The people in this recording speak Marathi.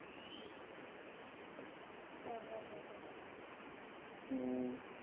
हा हा हम्म